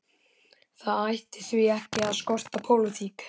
Það ætti því ekki að skorta pólitík.